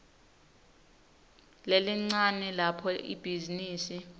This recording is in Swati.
lelincane lapho ibhizinisi